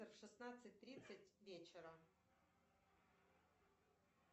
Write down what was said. в шестнадцать тридцать вечера